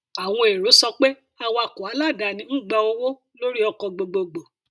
àwọn èrò sọ pé awakọ aláàdáni ń gba owó lórí ọkọ gbogbogbò